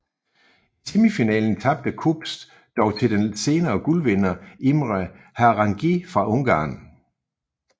I semifinalen tabte Kops dog til den senere guldvinder Imre Harangi fra Ungarn